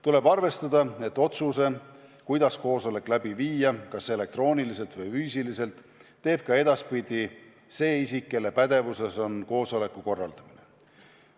Tuleb arvestada, et otsuse, kuidas koosolek läbi viia – kas elektrooniliselt või füüsiliselt –, teeb ka edaspidi see isik, kelle pädevuses on koosoleku korraldamine.